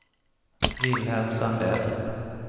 Wilhelm Sandell